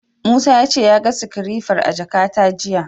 Musa ya ce ya ga sikirefar a jakata jiya.